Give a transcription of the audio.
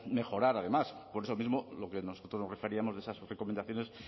mejorar además por eso mismo lo que nosotros nos referíamos de esas recomendaciones